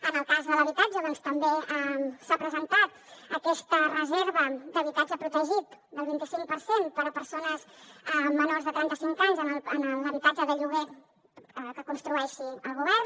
en el cas de l’habitatge també s’ha presentat aquesta reserva d’habitatge protegit del vint i cinc per cent per a persones menors de trenta cinc anys en l’habitatge de lloguer que construeixi el govern